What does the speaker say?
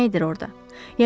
Nə edir orada?